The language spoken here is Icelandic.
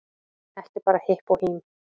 Ekki bara hipp og hím